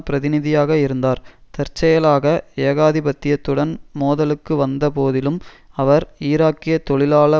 பிரதிநிதியாக இருந்தார் தற்செயலாக ஏகாதிபத்தியத்துடன் மோதலுக்கு வந்த போதிலும் அவர் ஈராக்கிய தொழிலாள